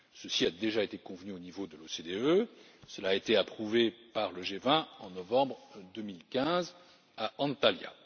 Cela a déjà été convenu au niveau de l'OCDE et approuvé par le G20 en novembre 2015 à Antalya.